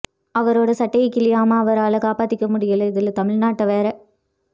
அவரோட சட்டையை கிழியாம அவரால காப்பத்திக்க முடியலை இதுல தமிழ்நாட்டை வேற